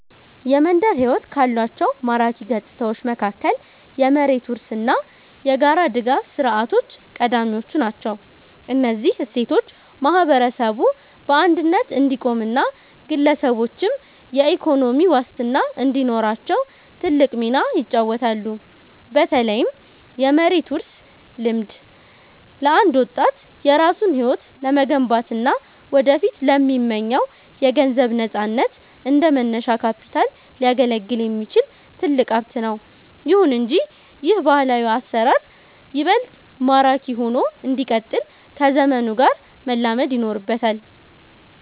የመንደር ሕይወት ካሏቸው ማራኪ ገጽታዎች መካከል የመሬት ውርስ እና የጋራ ድጋፍ ሥርዓቶች ቀዳሚዎቹ ናቸው። እነዚህ እሴቶች ማህበረሰቡ በአንድነት እንዲቆምና ግለሰቦችም የኢኮኖሚ ዋስትና እንዲኖራቸው ትልቅ ሚና ይጫወታሉ። በተለይም የመሬት ውርስ ልምድ፣ ለአንድ ወጣት የራሱን ሕይወት ለመገንባትና ወደፊት ለሚመኘው የገንዘብ ነፃነት እንደ መነሻ ካፒታል ሊያገለግል የሚችል ትልቅ ሀብት ነው። ይሁን እንጂ ይህ ባህላዊ አሰራር ይበልጥ ማራኪ ሆኖ እንዲቀጥል ከዘመኑ ጋር መላመድ ይኖርበታል።